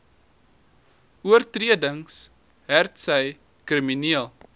oortredings hetsy krimineel